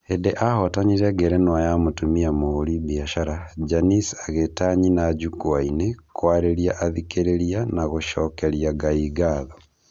Hĩndĩ ahotanire ngerenwa ya mũtumia mũhũri biacara, Janice agĩta nyina njukua-inĩ, kwarĩria athikĩrĩriana gũcokeria Ngai ngatho.